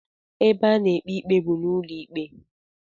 Ebe a na-ekpe ikpe bụ n'ụlọikpe